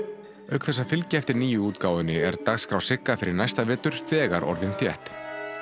auk þess að fylgja eftir nýju útgáfunni er dagskrá Sigga næsta vetur þegar orðin þétt